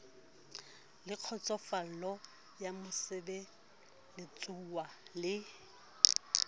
le kgotsofalo ya mosebeletsuwa le